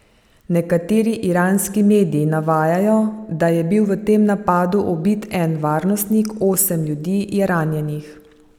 Nekateri iranski mediji navajajo, da je bil v tem napadu ubit en varnostnik, osem ljudi je ranjenih.